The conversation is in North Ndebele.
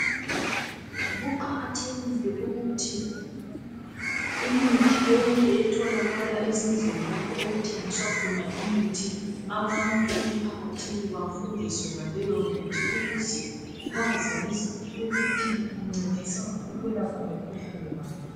Kuqakathekile ukuthi imithi yonke etholakala ezindlini lapho okuthengiswa khona imithi abantu emphakathini bafundiswe ngeleyomithi ukuze bazi ukuthi incedisa ukwelapha mikhuhlane bani.